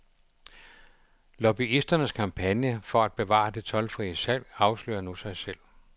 Lobbyisternes kampagne for at bevare det toldfrie salg afslører nu sig selv.